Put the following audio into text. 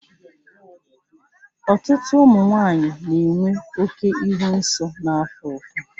Ọtụtụ ụmụ nwanyị na-enwe oke ịhụ nsọ na-afụ ụfụ.